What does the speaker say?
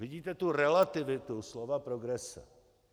Vidíte tu relativitu slova progrese?